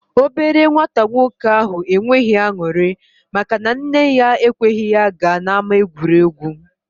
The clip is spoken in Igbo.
The small boy was not happy because his mother didn't allow him to go to the playground